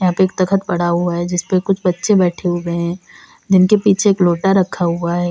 यहां पे एक तख्त पड़ा हुआ है जिसपे कुछ बच्चे बैठे हुए हैं जिनके पीछे एक लोटा रखा हुआ है।